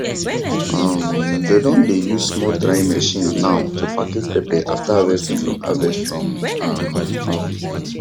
um dem don dey use small drying machine now to package pepper after harvest from harvest from um farm